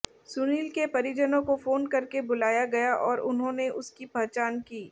सुनील के परिजनों को फोन करके बुलाया गया और उन्होंने उसकी पहचान की